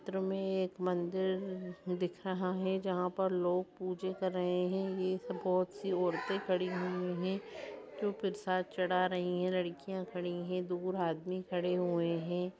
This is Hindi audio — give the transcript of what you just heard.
चित्र में एक मंदिर दिख रहा है जहाँ पर लोग पूजे कर रहे हैं। एक बोहोत सी औरतें खड़ी हुई हैं जो प्रसाद चढ़ा रही हैं लड़कियाँ खड़ी हैं दूर आदमी खड़े हुए हैं।